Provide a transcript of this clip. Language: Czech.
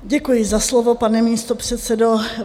Děkuji za slovo, pane místopředsedo.